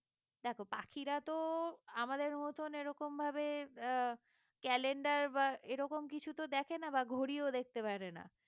দেখো পাখিরা তো আমাদের মতন এরকমভাবে আহ calendar বা এরকম কিছু তো দেখে না বা ঘড়িও দেখতে পারে না